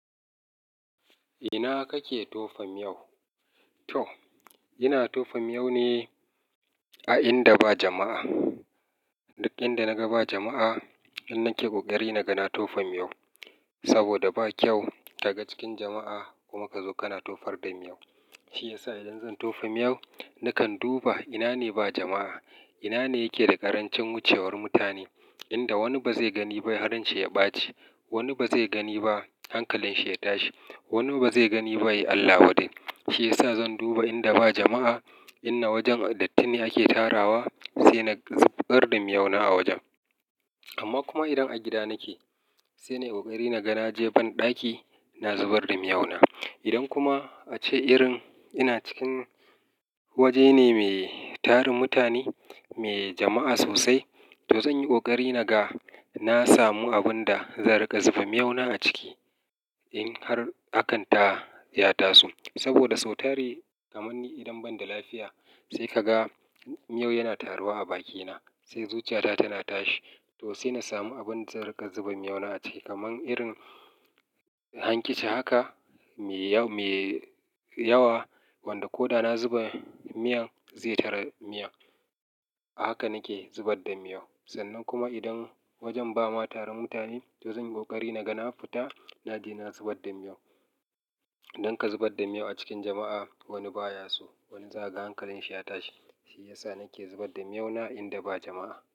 Ina kake tofa miyau? To, ina tofa miyau ne a inda ba jama'a. Inda na ga ba jama'a, nan nake ƙoƙari naga na tofa miyau. Saboda ba kyau ka ga cikin jama'a kuma ka zo kana tofar da miyau. Shi yasa idan zan tofa miyau, nakan duba ina ne ba jama'a. Ina ne yake da ƙarancin wucewar mutane, inda wani ba zai gani ba har ran shi ya ɓaci. Wani ba zai gani ba hankalin shi ya tashi. Wani ba zai gani ba, yayi Allah wadare. Shi yasa zan duba inda ba jama'a, ina wajen dattine ake tarawa, sai na zubar da miyau na a wajen. Amma kuma idan a gida nake, sai na yi ƙoƙari naga je ban ɗaki, na zubar da miyau na. Idan kuma a ce irin ina cikin waje ne mai tarin mutane, mai jama'a sosai, to zan yi ƙoƙari naga na samu abun da zan riƙa zuba miyau na a ciki. In har hakan ta ya taso. Saboda sau tari kamar ni idan ban da lafiya, sai ka ga miyau yana taruwa a bakina, sai zuciyata tana tashi. To sai na samu abun da zan riƙa zuba miyau na a ciki. Kaman irin hankici haka mai yawa wanda ko da na zuba miyan zai tare miyan. A haka nake zubar da miyau. Sannan kuma idan wajen ba ma tarin mutane, to zan yi ƙoƙari naga na fita, na je na zubar da miyau. Dan ka zubar da miyau a cikin jama'a, wani ba ya so, wani za ka ga hankalin shi ya tashi. Shi yasa nake zubar da miyau na inda ba jama'a.